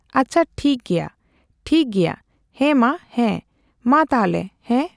ᱟᱪᱪᱷᱟ ᱴᱷᱤᱠ ᱜᱮᱭᱟ ᱴᱷᱤᱠ ᱜᱮᱭᱟ ᱦᱮᱸᱢᱟ ᱦᱮᱸ ᱢᱟ ᱛᱟᱦᱞᱮ ᱦᱮᱸ ᱾